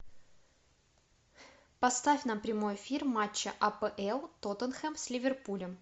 поставь нам прямой эфир матча апл тоттенхэм с ливерпулем